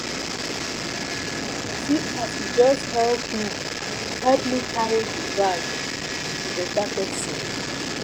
See as she just help me help me carry the bag. She be better person.